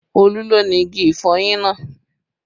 Olú ló ni igi ìfọyín náà